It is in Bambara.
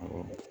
Awɔ